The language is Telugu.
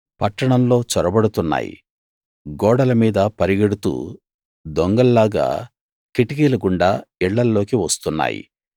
పట్టణంలో చొరబడుతున్నాయి గోడల మీద పరుగెడుతూ దొంగల్లాగా కిటికీల గుండా ఇళ్ళల్లోకి వస్తున్నాయి